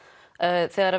þegar